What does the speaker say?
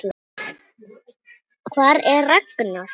Hvar er Ragnar?